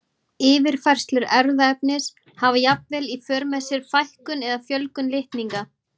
Yfirfærslur erfðaefnis hafa jafnvel í för með sér fækkun eða fjölgun litninga.